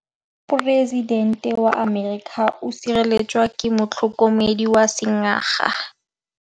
Poresitêntê wa Amerika o sireletswa ke motlhokomedi wa sengaga.